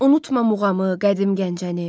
Unutma muğamı, qədim Gəncəni.